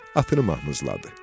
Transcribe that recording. Atını mamızladı.